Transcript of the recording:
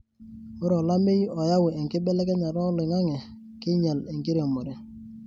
Ore olameyu oyau enkibelekenyata oloingange keinyal enkiremore.